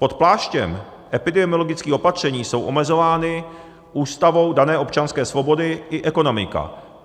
Pod pláštěm epidemiologických opatření jsou omezovány Ústavou dané občanské svobody i ekonomika.